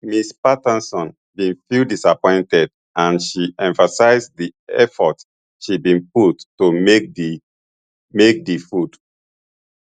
ms patterson bin feel disappointed and she emphasise di effort she bin put to make make di food